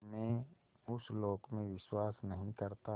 मैं उस लोक में विश्वास नहीं करता